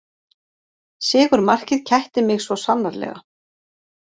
Sigurmarkið kætti mig svo sannarlega